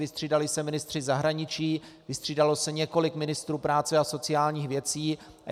Vystřídali se ministři zahraničí, vystřídalo se několik ministrů práce a sociálních věcí.